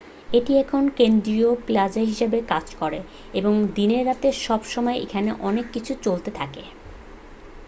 এটি এখন কেন্দ্রীয় প্লাজা হিসেবে কাজ করে এবং দিনে রাতে সব সময়ই এখানে অনেক কিছু চলতে থাকে